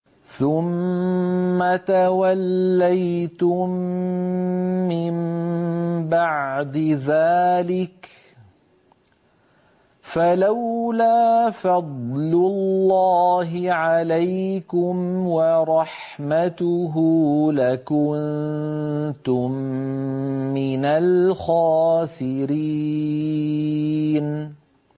ثُمَّ تَوَلَّيْتُم مِّن بَعْدِ ذَٰلِكَ ۖ فَلَوْلَا فَضْلُ اللَّهِ عَلَيْكُمْ وَرَحْمَتُهُ لَكُنتُم مِّنَ الْخَاسِرِينَ